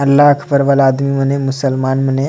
अल्लाहा अकबर आदमीमने मुसलमान मने।